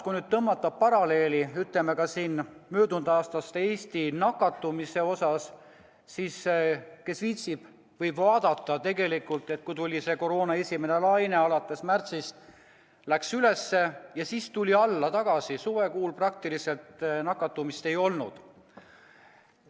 Kui nüüd tõmmata paralleele möödunud aasta Eesti nakatumisega, siis kes viitsib, võib vaadata ja näha, et kui tuli koroona esimene laine, siis alates märtsist läks näitaja üles ja seejärel tuli alla tagasi, suvekuudel nakatumist praktiliselt ei olnud.